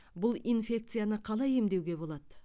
бұл инфекцияны қалай емдеуге болады